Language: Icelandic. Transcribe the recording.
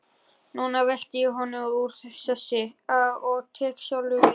Núna velti ég honum úr sessi og tek sjálfur við.